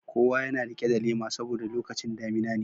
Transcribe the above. Kowa yana rike da lema saboda lokacin damina ne.